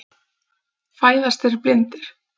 Fæðast þeir blindir?